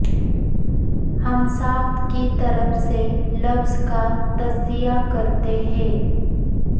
ہم ساخت کی طرف سے لفظ کا تجزیہ کرتے ہیں